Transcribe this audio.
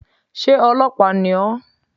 Sé ọlọ́pàá ni ó?